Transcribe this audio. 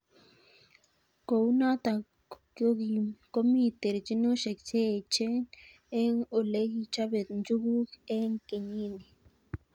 Kou notok komi terchinosiek che echen eng' olekichobe njuguk eng' kenyit ni.